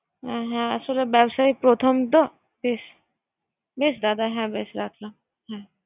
হ্যা আসলে বাবস্যায় প্রথম তো, বেশ দাদ হ্যা বেশ রাখি